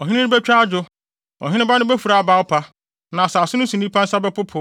Ɔhene no betwa adwo, ɔheneba no befura abawpa, na asase no so nnipa nsa bɛpopo.